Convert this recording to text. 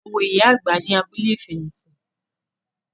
A wo ìyá àgbà ní abúlé ìfẹ̀hìtì.